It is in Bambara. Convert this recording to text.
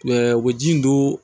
u bɛ ji in don